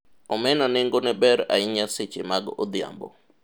omena nengone ber ahinya seche mag odhiambo